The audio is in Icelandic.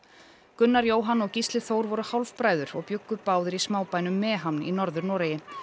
Gunnar Jóhann og Gísli Þór voru hálfbræður og bjuggu báðir í smábænum í Norður Noregi